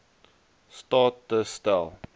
staat te stel